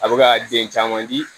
A bɛ ka den caman di